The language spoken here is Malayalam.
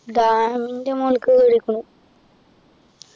dam ൻ്റെ മുകളിൽ കേറീകുണു